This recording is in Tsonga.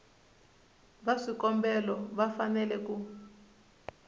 va swikombelo va fanele ku